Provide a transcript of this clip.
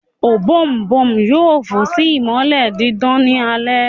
Ọ̀bọ̀ọ̀nbọọ̀n yoo fò si imọlẹ didan ni alẹ